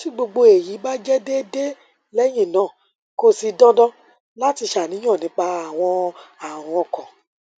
ti gbogbo eyi ba jẹ deede lẹhinna ko si dandan lati ṣàníyàn nipa awọn arun ọkan